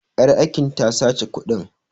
Ƴar aikin ta sace kuɗin.